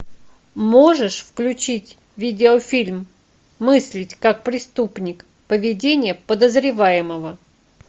можешь включить видеофильм мыслить как преступник поведение подозреваемого